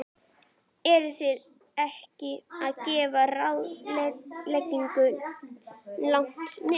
Eruð þið ekki að gefa ráðuneytinu langt nef?